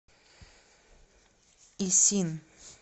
исин